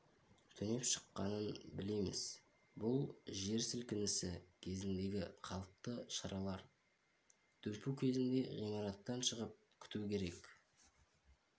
түнеп шыққанын білеміз бұл жер сілкінісі кезіндегі қалыпты шаралар дүмпу кезінде ғимараттан шығып күту керек